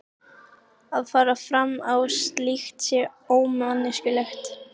Að fara fram á slíkt sé ómanneskjulegt.